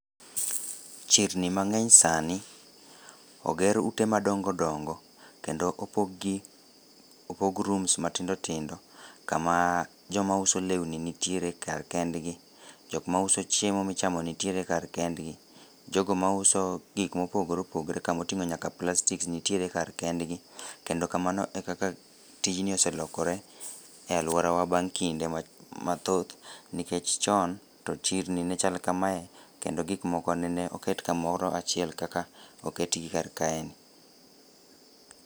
Chirni mang'eny sani oger ute madongo dongo, kendo opog gi opog rooms matindo tindo ama joma uso lewni nitiere kar kendgi joma uso chiemo michamo nitiere kar kendgi, jogo mauso gik mopogore opogore kama oting'o nyaka plastik nitiere kar kendgi. Mana e kaka tijni ose lokore e aluorawa baang' kinde mathoth nikech to chirni ne chal kamae kendo gik moko ne oket kamoro achiel kaka oketgi kar kaeni.